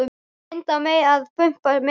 Hún reyndi að pumpa mig meira.